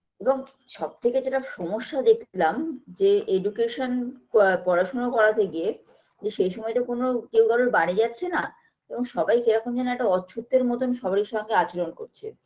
এবং সবথেকে যেটা সমস্যা দেখলাম যে education প পড়াশুনা করাতে গিয়ে যে সেই সময় তো কোনো কেউ কারোর বাড়ি যাচ্ছেনা এবং সবাই কীরকম যেন একটা অচ্ছুতের মতো সবাইয়ের সঙ্গে আচরণ করছে